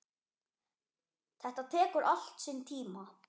Þetta tekur allt sinn tíma.